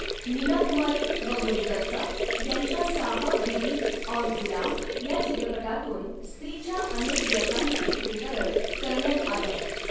मीनाकुमारी व गुरुदत्त यांच्या साहब, बीबी और गुलाम या चित्रपटातून स्त्रीच्या अनेक व्यथांच चित्रीकरण करण्यात आलं.